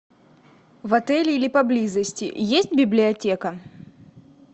в отеле или поблизости есть библиотека